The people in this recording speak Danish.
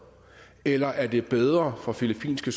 eller er det bedre for filippinske